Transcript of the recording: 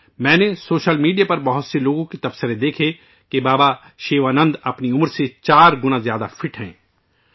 میں نے social media پر کئی لوگوں کے کمنٹ دیکھے کہ بابا شیوانند اپنی عمر سے چار گنا کم عمر کے لوگوں بھی زیادہ فٹ ہیں